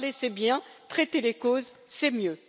Parler c'est bien, traiter les causes, c'est mieux.